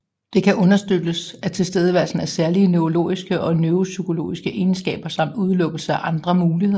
Det kan understøttes af tilstedeværelsen af særlige neurologiske og neuropsykologiske egenskaber samt udelukkelse af andre muligheder